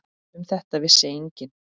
Um þetta vissi enginn.